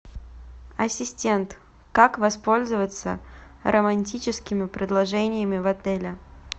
ассистент как воспользоваться романтическими предложениями в отеле